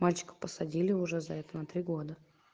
мальчика посадили уже за это на три года